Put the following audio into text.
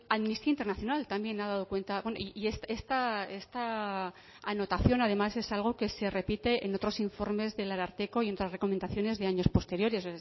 amnistía internacional también ha dado cuenta y esta anotación además es algo que se repite en otros informes del ararteko y en otras recomendaciones de años posteriores